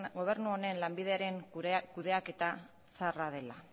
gobernu honen lanbideren kudeaketa zaharra dela